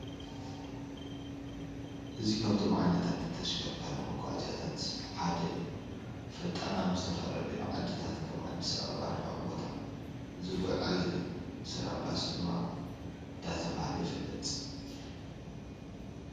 እዚ ካብቶም ዓይነታት ተሽከርካሪ መጉዓዝያታት ሓደ እዩ::ፈጣን ናብ ዝተፈላለዩ ዓድታት ከም አዲስ አበባ ርሑቅ ቦታ ዝጉዓዝ እዩ::ሰላም ባስ ድማ ዳተብሃለ ይፍለጥ::